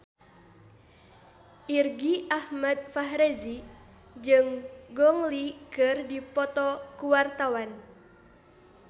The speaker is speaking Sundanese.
Irgi Ahmad Fahrezi jeung Gong Li keur dipoto ku wartawan